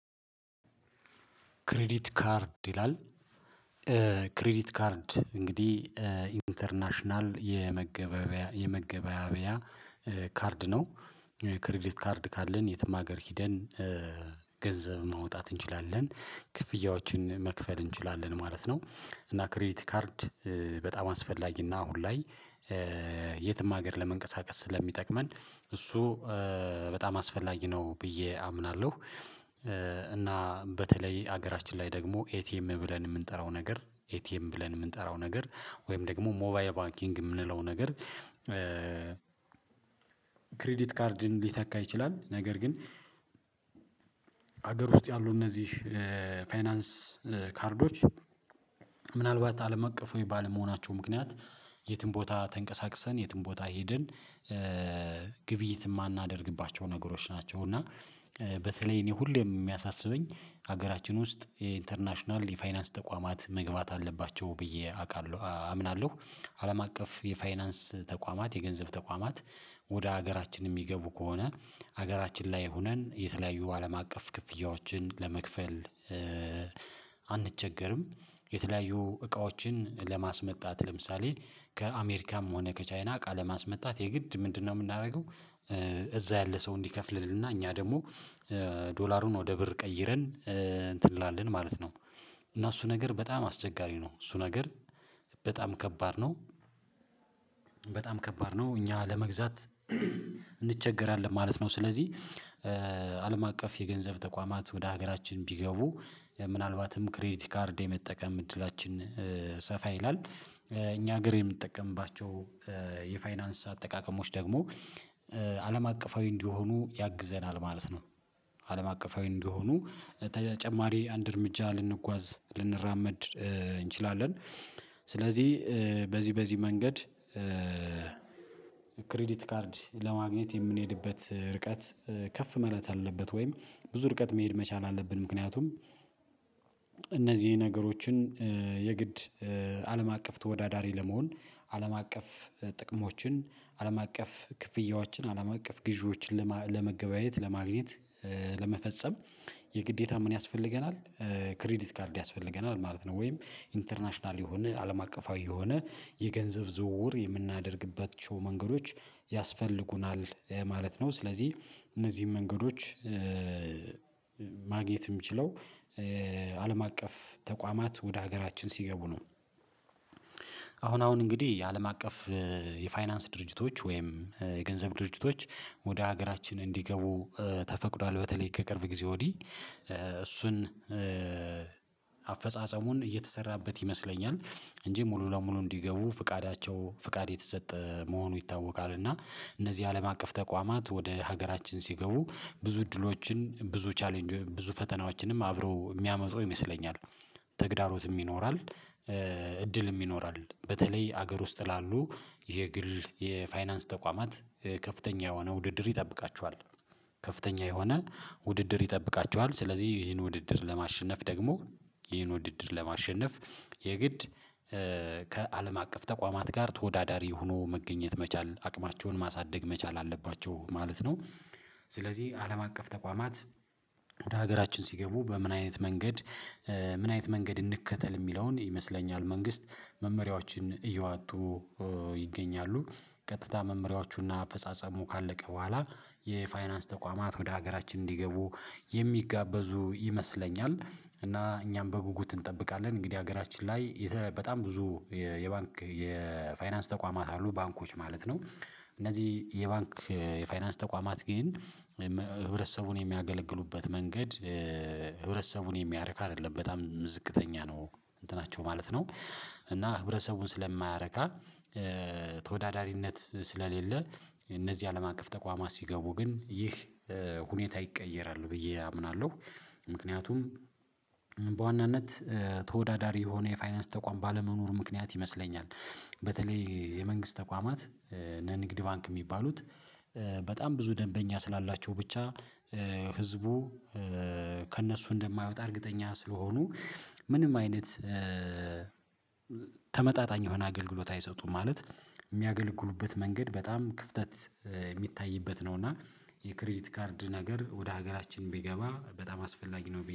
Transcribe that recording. ክሬዲት ካርድ ይላል። ክሬዲት ካርድ እንግዲህ ኢንተርናሽናል የመገበያያ የመገበያያ ካርድ ነው። ክሪዲት ካርድ ካለን የትም ሀገር ሂደን ገንዘብ ማውጣት እንችላለን። ክፍያዎችን መክፈል እንችላለን ማለት ነው። እና ክሬዲቲ ካርድ በጣም አስፈላጊ እና አሁን ላይ የትም ሀገር ለመንቀሳቀስ ስለሚጠቅመን እሱ በጣም አስፈላጊ ነው ብዬ አምናለሁ። እና በተለይ ሀገራችን ላይ ደግሞ ኤቲኤም ብለን የምንጠራው ነገር ኤቲኤም ብለን የምንጠራው ነገር ወይም ደግሞ ሞባይል ባንኪንግ የምንለው ነገር። ክሪዲት ካርድን ሊተካ ይችላል። ነገር ግን ሀገር ውስጥ ያሉ እነዚህ ፋይናንስ ካርዶች ምናልባት አለም አቀፋዊ ባለመሆናቸው ምክንያት የትም ቦታ ተንቀሳቅሰን የትም ቦታ ሄደን ግብይት የማናደርግባቸው ነገሮች ናቸው። እና በተለይ እኔ ሁሌ የሚያሳስበኝ ሀገራችን ውስጥ የኢንተርናሽናል የፋይናንስ ተቋማት መግባት አለባቸው ብዬ አውቃለሁ አምናለሁ። አለም አቀፍ የፋይናንስ ተቋማት የገንዘብ ተቋማት ወደ ሀገራችን የሚገቡ ከሆነ ሀገራችን ላይ ሆነን የተለያዩ አለም አቀፍ ክፍያዎችን ለመክፈል አንቸገርም። የተለያዩ እቃዎችን ለማስመጣት ለምሳሌ ከአሜሪካም ሆነ ከቻይና እቃ ለማስመጣት የግድ ምንድነው? የምናደርገው እዛ ያለ ሰው እንዲከፍልልን እና እኛ ደግሞ ዶላሩን ወደ ብር ቀይረን እንትን እንላለን ማለት ነው። እና እሱ ነገር በጣም አስቸጋሪ ነው እሱ ነገር በጣም ከባድ ነው። በጣም ከባድ ነው እኛ ለመግዛት እንቸገራለን ማለት ነው። ስለዚህ አቀፍ የገንዘብ ተቋማት ወደ ሀገራችን ቢገቡ ምናልባትም ክሬዲት ካርድ የመጠቀም እድላችን ሰፋ ይላል እኛ ሀገር የምንጠቀምባቸው የፋይናንስ አጠቃቀሞች ደግሞ አለም አቀፋዊ እንዲሆኑ ያግዘናል ማለት ነው። አለም አቀፋዊ እንዲሆኑ ተጨማሪ አንድ እርምጃ ልንጓዝ ልንራመድ እንችላለን። ስለዚህ በዚህ በዚህ መንገድ ክሬዲት ካርድ ለማግኘት የምንሄድበት ርቀት ከፍ ማለት አለበት። ወይም ብዙ ርቀት መሄድ መቻል አለብን ምክንያቱም እነዚህ ነገሮችን የግድ አለም አቀፍ ተወዳዳሪ ለመሆን አለም አቀፍ ጥቅሞችን አለም አቀፍ ክፍያዎችን አለም አቀፍ ግዢዎችን ለመገበያየት ለማግኘት ለመፈጸም የግዴታ ምን ያስፈልገናል? ክሬዲት ካርድ ያስፈልገናል ማለት ነው። ወይም ኢንተርናሽናል የሆነ አለም አቀፋዊ የሆነ የገንዘብ ዝውውር የምናደርግባቸው መንገዶች ያስፈልጉናል ማለት ነው። ስለዚህ እነዚህን መንገዶች ማግኘት ምችለው አለም አቀፍ ተቋማት ወደ ሀገራችን ሲገቡ ነው። አሁን አሁን እንግዲህ የአለም አቀፍ የፋይናንስ ድርጅቶች ወይም የገንዘብ ድርጅቶች ወደ ሀገራችን እንዲገቡ ተፈቅዷል በተለይ ከቅርብ ጊዜ ወዲህ እሱን አፈጻጸሙን እየተሰራበት ይመስለኛል እንጂ ሙሉ ለሙሉ እንዲገቡ ፍቃዳቸው ፍቃድ የተሰጠ መሆኑ ይታወቃል። እና እነዚህ አለም አቀፍ ተቋማት ወደ ሀገራችን ሲገቡ ብዙ እድሎችን ብዙ ቻሌንጅ ብዙ ፈተናዎችንም አብረው የሚያመጡ ይመስለኛል። ተግዳሮትም ይኖራል። እድል ይኖራል በተለይ ሀገር ውስጥ ላሉ የግል የፋይናንስ ተቋማት ከፍተኛ የሆነ ውድድር ይጠብቃቸኋል። ከፍተኛ የሆነ ውድድር ይጠብቃቸኋል ስለዚህ ይሄን ውድድር ለማሸነፍ ደግሞ ይህን ውድድር ለማሸነፍ የግድ ከአለም አቀፍ ተቋማት ጋር ተወዳዳሪ ሆኖ መገኘት መቻል አቅማቸውን ማሳደግ መቻል አለባቸው ማለት ነው። ስለዚህ አለም አቀፍ ተቋማት ወደ ሀገራችን ሲገቡ በምን አይነት መንገድ ምን አይነት መንገድ እንከተል የሚለውን ይመስለኛል። መንግስት መመሪያዎችን እያወጡ ይገኛሉ ቀጥታ መመሪያዎቹ እና አፈጻጸሙ ካለቀ በኋላ የፋይናንስ ተቋማት ወደ ሀገራችን እንዲገቡ የሚጋበዙ ይመስለኛል እና እኛም በጉጉት እንጠብቃለን። እንግዲህ ሀገራችን ላይ በጣም ብዙ የባንክ የፋይናንስ ተቋማት አሉ ባንኮች ማለት ነው። እነዚህ የባንክ የፋይናንስ ተቋማት ግን ህብረተሰቡን የሚያገለግሉበት መንገድ ህብረተሰቡን የሚያረካ አይደለም በጣም ዝቅተኛ ነው እንትናቸው ማለት ነው። እና ህብረሰቡን ስለማያረካ ተወዳዳሪነት ስለሌለ እነዚህ አለም አቀፍ ተቋማት ሲገቡ ግን ይህ ሁኔታ ይቀየራል ብዬ አምናለሁ። ምክንያቱም በዋናነት ተወዳዳሪ የሆነ የፋይናንስ ተቋም ባለመኖሩ ምክንያት ይመስለኛል። በተለይ የመንግስት ተቋማት እነ ንግድ ባንክ የሚባሉት በጣም ብዙ ደንበኛ ስላላቸው ብቻ ህዝቡ ከእነሱ እንደማይወጣ እርግጠኛ ስለሆኑ ምንም አይነት ተመጣጣኝ የሆነ አገልግሎት አይሰጡም ማለት የሚያገለግሉበት መንገድ በጣም ክፍተት የሚታይበት ነው። እና የክሬዲት ካርድ ነገር ወደ ሀገራችን ቢገባ በጣም አስፈላጊ ነው